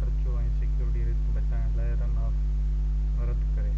خرچو ۽ security risk بچائڻ لاءِ run off رد ڪري